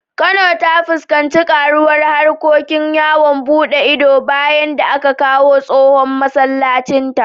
Kano ta fuskanci karuwar harkokin yawon buɗe ido bayan da aka dawo da tsohon masallacinta.